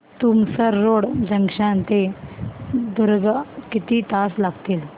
Tumsar road junction ते दुर्ग किती तास लागतील